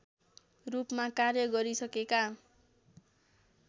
रूपमा कार्य गरिसकेका